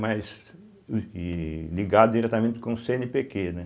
Mas ih ligado diretamente com o cêenepêquê, né?